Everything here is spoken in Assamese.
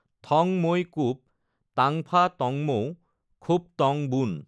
থঙ মৈ কুপ তাঙফা তঙমৌ খুপ তঙ বুন।